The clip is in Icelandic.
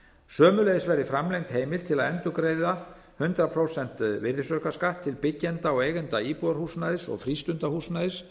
sömuleiðis verði framlengd heimild til að endurgreiða hundrað prósent virðisaukaskatt til byggjenda og eigenda íbúðarhúsnæðis og frístundahúsnæðis